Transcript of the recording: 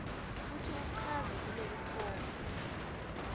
kutsi uchaze kulelifomu